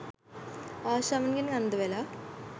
ආශාවන්ගෙන් අන්දවෙලා.